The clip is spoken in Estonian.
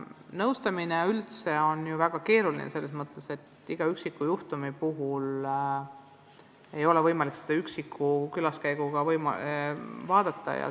Nõustamine üldse on ju väga keeruline, sest kõiki üksikjuhtumeid ei ole võimalik ühe külaskäiguga lahendada.